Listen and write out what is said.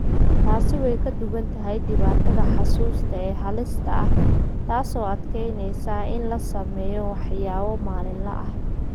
Taasi way ka duwan tahay dhibaatada xusuusta ee halista ah, taas oo adkeynaysa in la sameeyo waxyaabo maalinle ah.